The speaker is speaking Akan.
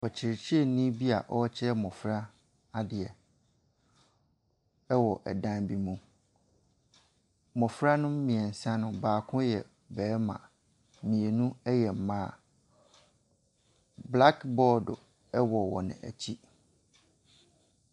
Ɔkyerɛkyerɛni bi aa ɔkyerɛ mmɔfra adeɛ ɛwɔ ɛdan bi mu. Mmɔfra no mmiɛnsa no baako yɛ bɛɛma, mmienu ɛyɛ mmaa. Blakbɔɔd ɛwɔ wɔn akyi.